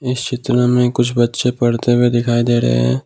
इस चित्र में कुछ बच्चे पढ़ते हुए दिखाई दे रहे हैं।